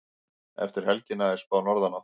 Eftir helgina er spáð norðanátt